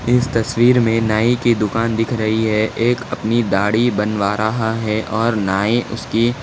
इस तस्वीर में नाई की दुकान दिख रही है एक अपनी दाढी बनवा रहा है और नाई उसकी--